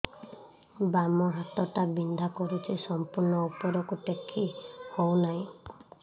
ବାମ ହାତ ଟା ବିନ୍ଧା କରୁଛି ସମ୍ପୂର୍ଣ ଉପରକୁ ଟେକି ହୋଉନାହିଁ